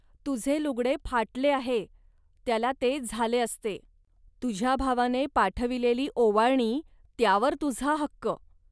तुझे लुगडे फाटले आहे, त्याला ते झाले असते. तुझ्या भावाने पाठविलेली ओवाळणीतुझा त्यावर हक्क